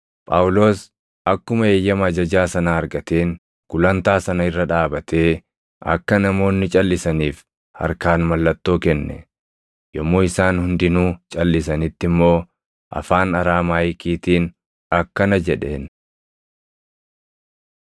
Phaawulos akkuma eeyyama ajajaa sanaa argateen gulantaa sana irra dhaabatee akka namoonni calʼisaniif harkaan mallattoo kenne; yommuu isaan hundinuu calʼisanitti immoo afaan Araamaayikiitiin akkana jedheen.